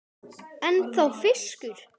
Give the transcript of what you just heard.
Ennþá fiskur.